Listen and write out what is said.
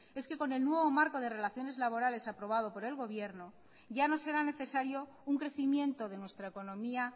es que con el nuevo marco de relaciones laborales aprobado por el gobierno ya no será necesario un crecimiento de nuestra economía